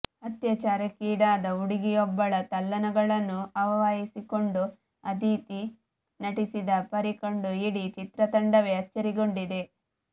ಅತ್ಯಾಚಾರಕ್ಕೀಡಾದ ಹುಡುಗಿಯೊಬ್ಬಳ ತಲ್ಲಣಗಳನ್ನು ಆವಾಹಿಸಕೊಂಡು ಅದಿತಿ ನಟಿಸಿದ ಪರಿ ಕಂಡು ಇಡೀ ಚಿತ್ರತಂಡವೇ ಅಚ್ಚರಿಗೊಂಡಿದೆ